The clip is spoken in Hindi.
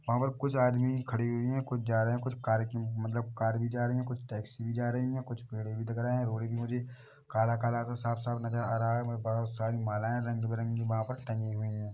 वहाँ पर कुछ आदमी खड़ी हुई हैं कुछ जा रहे हैं कुछ कार की मतलब कार भी जा रही हैं टैक्सी भी जा रही हैं कुछ पेड़े भी दिख रहे हैं रोड पर मुझे काला-काला सा साफ-साफ नज़र आ रहा हैं बहोत सारी मालाएं रंग-बिरंगी वहाँ पर टंगी हुई हैं।